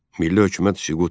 Milli hökumət süqut etdi.